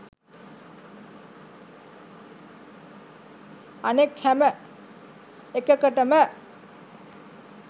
අනෙක් හැම එකකටම